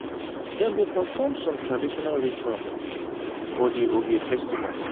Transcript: dem dey perform some traditional rituals for di ovia festival.